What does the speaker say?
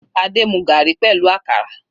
Adé mu garri pẹ̀lú àkàrà.